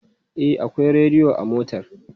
E, akwai rediyo a motar.